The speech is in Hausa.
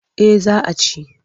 Eh za a ci.